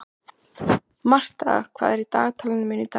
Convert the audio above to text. Martha, hvað er í dagatalinu mínu í dag?